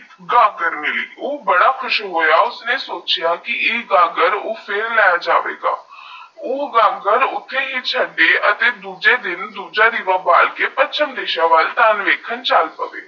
ਬਾਰੇਮਿਲਕ ਊ ਬਾਰੇ ਖ਼ੁਸ਼ ਹੋ ਯੇ ਉਸਨੇ ਸੋਚੀਏ ਕੇ ਯੇ ਗਾਗਰ ਪਰੇ ਲੇ ਜਾਵਾ ਗਾ ਵੋ ਗਾਗਰ ਏਐੱਸਆਈ ਦੁਸਰੀ ਦਿਨ ਦੁਸਰਾ ਦੀਵਾ ਪਾਰਕੇ ਪੱਛਮੀ ਦਿਸ਼ਾ ਦਿਨ ਵਾਲਾ ਚਲ ਜਾਵੇ ਗਾ